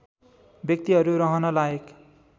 व्यक्तिहरू रहन लायक